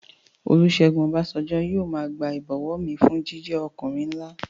Olúsẹ́gun Ọbásanjọ́ yóò máa gba ìbọ̀wọ̀ mi fún jíjẹ́ ọkùnrin nlá